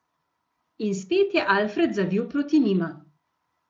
In spet je Alfred zavil proti njima.